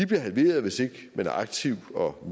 bliver halveret hvis ikke man er aktiv og